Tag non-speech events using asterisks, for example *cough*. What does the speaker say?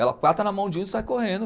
Ela *unintelligible* na mão de um e sai correndo.